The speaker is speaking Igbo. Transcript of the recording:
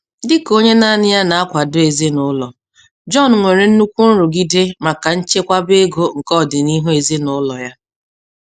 Dị ka onye naanị ya na-akwadọ ezinaụlọ, Jọn nwere nnukwu nrụgide maka nchekwaba ego nke ọdịniihu ezinaụlọ ya.